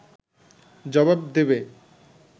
জবাব দেবে